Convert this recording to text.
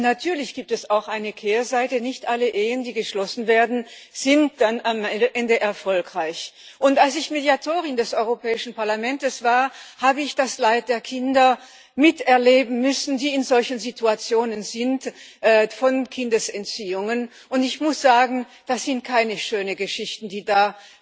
Natürlich gibt es auch eine Kehrseite Nicht alle Ehen, die geschlossen werden, sind dann am Ende erfolgreich. Als ich Mediatorin des Europäischen Parlaments war, habe ich das Leid der Kinder miterleben müssen, die von Kindesentziehungen betroffen sind, und ich muss sagen, das sind keine schönen Geschichten, die da